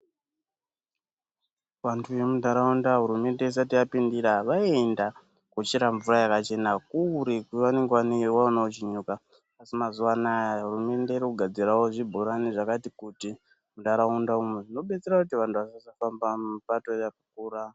Vantu vemuntaraunda hurumende isati yapindira vaienda kochera mvura yakachena kure kwavanenge vandoiwana kuchinyuka asi mazuwa anaya hurumende iri kugadzirawo zvibhorani zvakati kuti muntaraunda Umu zvinobetsera kuti vantu vasazofamba mubato yakakura.